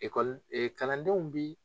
e Kalandenw bi